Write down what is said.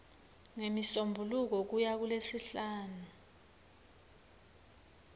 ngemisombuluko kuya kulesihlanu